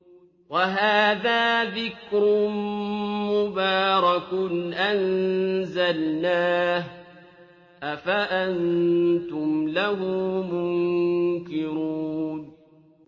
وَهَٰذَا ذِكْرٌ مُّبَارَكٌ أَنزَلْنَاهُ ۚ أَفَأَنتُمْ لَهُ مُنكِرُونَ